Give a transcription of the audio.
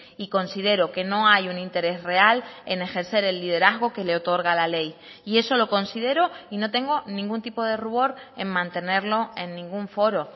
y considero que no hay un interés real en ejercer el liderazgo que le otorga la ley y eso lo considero y no tengo ningún tipo de rubor en mantenerlo en ningún foro